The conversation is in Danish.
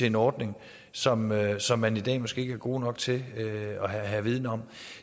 en ordning som man som man i dag måske ikke er god nok til at have viden om